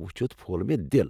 وُچھِتھ پھوٚل مےٚ دل۔